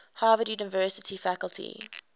harvard university faculty